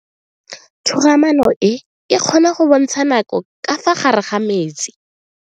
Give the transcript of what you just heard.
Toga-maano e, e kgona go bontsha nako ka fa gare ga metsi.